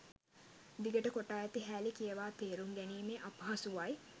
දිගට කොටා ඇති හෑලි කියවා තේරුම් ගැනීමේ අපහසුවයි